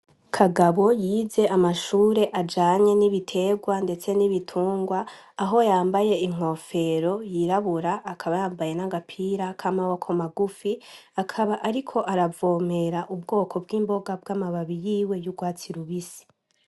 Kagabo yize amashure ajanye n'ibiterwa ndetse n'ibitungwa, aho yambaye inkofero yibura akaba yambaye n'agapira kamaboko maguru. Akaba ariko aravomera ubwoko bw'imboga bw'amababi